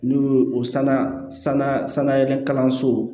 N'u ye o sanga sanga sanga kalanso